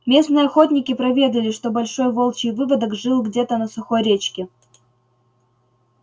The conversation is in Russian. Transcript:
местные охотники проведали что большой волчий выводок жил где-то на сухой речке